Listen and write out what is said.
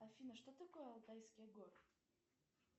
афина что такое алтайские горы